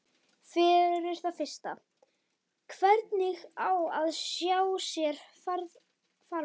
Fyrir það fyrsta: hvernig á hann að sjá sér farborða?